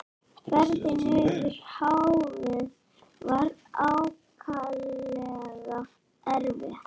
Ferðin yfir hafið var ákaflega erfið.